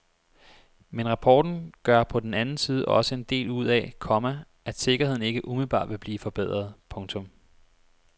Men rapporten gør på den anden side også en del ud af, komma at sikkerheden ikke umiddelbart vil blive forbedret. punktum